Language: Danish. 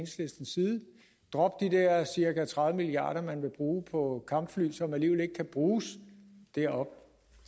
side drop de der cirka tredive milliard kr man vil bruge på kampfly som alligevel ikke kan bruges deroppe